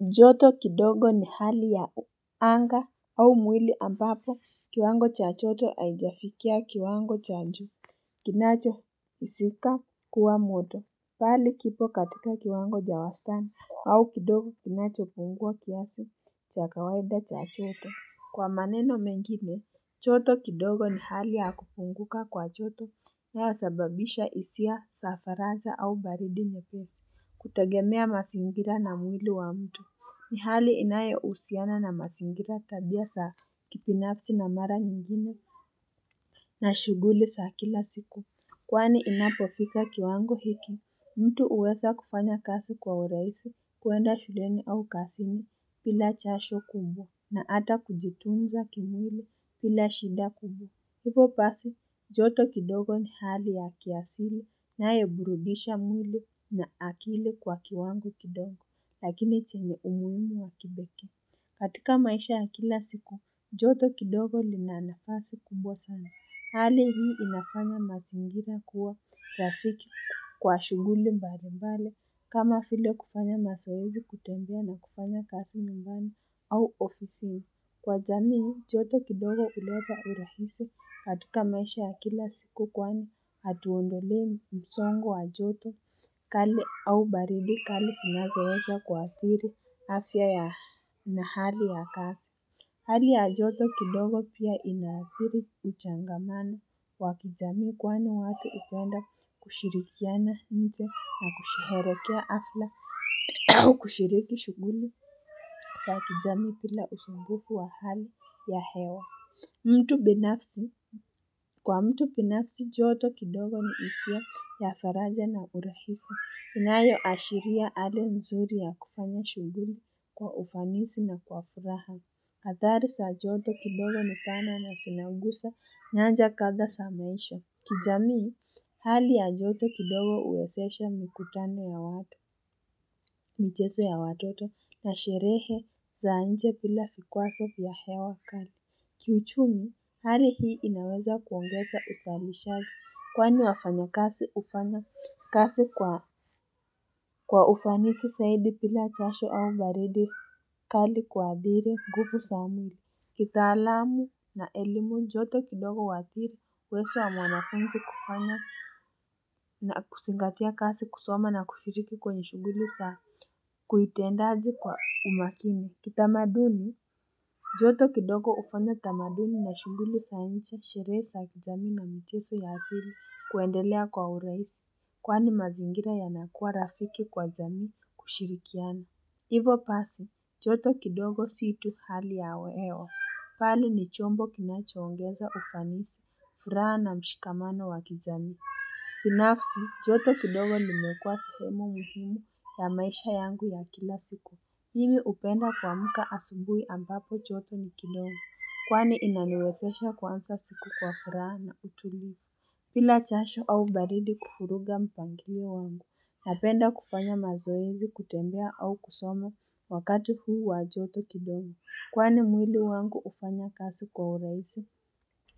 Joto kidogo ni hali ya anga au mwili ambapo kiwango cha joto haijafikia kiwango cha juu Kinacho sikika kuwa moto mbali kipo katika kiwango cha wastani au kidogo kinachopungua kiasi cha kawaida cha joto. Kwa maneno mengine, joto kidogo ni hali ya kupunguka kwa joto inayosababisha hisia za faraja au baridi nyepesi, kutegemea mazingira na mwili wa mtu. Ni hali inayohusiana na mazingira tabia za kibinafsi na mara nyingine na shughuli za kila siku. Kwani inapofika kiwango hiki, mtu huweza kufanya kazi kwa urahisi, kuenda shuleni au kazini bila jasho kubwa na hata kujitunza kimwili bila shida kubwa. Hivyo basi, joto kidogo ni hali ya kiasili inayoburudisha mwili na akili kwa kiwango kidogo lakini chenge umuhimu wa kipekee. Katika maisha ya kila siku, joto kidogo lina nafasi kubwa sana. Hali hii inafanya mazingira kuwa rafiki kwa shughuli mbali mbali kama vile kufanya mazoezi kutembea na kufanya kazi nyumbani au ofisini. Kwa jamii, joto kidogo huleta urahisi katika maisha ya kila siku kwani hatuongelei msongo wa joto kali au baridi kali zinazoweza kuaathiri afya ya, na hali ya kazi. Hali ya joto kidogo pia inaathiri kuchangamana kwa kijamii, kwani watu hupenda kushirikiana nje na kusherehekea hafla au kushiriki shughuli za kijamii bila usumbufu wa hali ya hewa. Mtu binafsi, kwa mtu binafsi joto kidogo na isiyo ya faraja na uruhisi inayo ashiria hali nzuri ya kufanya shughuli kwa ufanisi na kwa furaha. Hatari za joto kidogo ni pana na zinaguza nyanja kadha za maisha. Kijamii, hali ya joto kidogo huwezesha mikutano ya watu, michezo ya watoto na sherehe za nje bila vikwazo vya hewa kali. Kiuchumi, hali hii inaweza kuongeza uzalisha kwani wafanyakazi hufanya kazi kwa ufanisi zaidi bila jasho au baridi kali kuadhiri nguvu za mwili kitaalamu na elimu joto kidogo huadhiri uwezo wa mwanafunzi kufanya na kuzingatia kazi kusoma na kushiriki kwenye shughuli za kiutendaje kwa umakini. Kitamaduni joto kidogo hufanya tamaduni na shughuli za nje sherehe za kijamii na michezo ya asili kuendelea kwa urahisi, kwani mazingira yanakua rafiki kwa jamii kushirikiana. Hivo basi, joto kidogo si tu hali ya hewa, bali ni chombo kinachoongeza ufanisi, furaha na mshikamano wa kijamii. Binafsi, joto kidogo limekua sehemu muhimu ya maisha yangu ya kila siku. Mimi hupenda kuamka asubuhi ambapo joto ni kidogo, kwani inaniwezesha kuanza siku kwa furaha na utulivu. Bila jasho au baridi kuvuruga mpangilio wangu, napenda kufanya mazoezi kutembea au kusoma wakati huu wa joto kidogo. Kwani mwili wangu hufanya kazi kwa urahisi,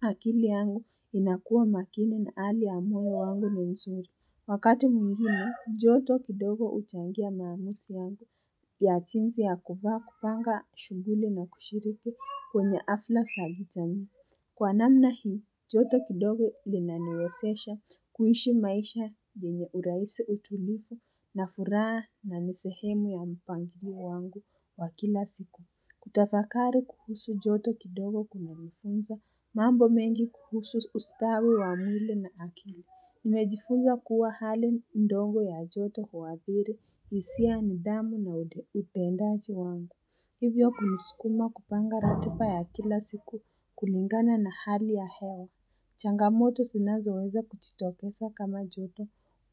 akili yangu inakuwa makini na hali ya moyo wangu ni nzuri. Wakati mwingine, joto kidogo huchangia maamuzi yangu ya jinsi ya kuvaa, kupanga shughuli na kushiriki kwenye hafla za kijamii. Kwa namna hii, joto kidogo lilaniwezesha kuishi maisha yenye urahisi utulivu na furaha na ni sehemu ya mpangilio wangu wa kila siku. Kutafakari kuhusu joto kidogo kunanifunza, mambo mengi kuhusu ustawi wa mwili na akili. Nimejifunza kuwa hali dogo ya joto huadhiri, hisia, nidhamu na utendaji wangu. Hivyo kunisukuma kupanga ratiba ya kila siku kulingana na hali ya hewa. Changamoto zinazoweza kujitokeza kama joto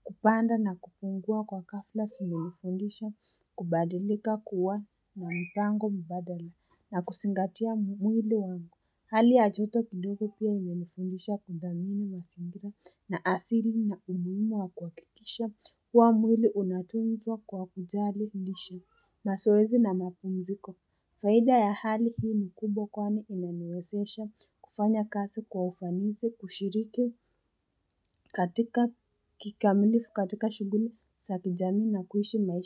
kupanda na kupungua kwa ghafla zimenifundisha, kubadilika kuwa na mpango mbadala na kuzingatia mwili wangu. Hali ya joto kidogo pia imenifundisha kudhamini mazingira na asili na umuhimu wa kuhakikisha kuwa mwili unatuzwa kwa kujali lishe, mazoezi na mapumziko faida ya hali hii ni kubwa kwani inaniwezesha kufanya kazi kwa ufanisi, kushiriki katika kikamilifu katika shughuli zakijamii na kuishi maisha.